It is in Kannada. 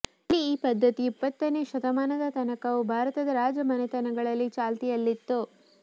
ಇಲ್ಲಿ ಈ ಪದ್ದತಿಯು ಇಪ್ಪತ್ತನೇ ಶತಮಾನದ ತನಕವೂ ಭಾರತದ ರಾಜ ಮನೆತನಗಳಲ್ಲಿ ಚಾಲ್ತಿಯಲ್ಲಿತ್ತು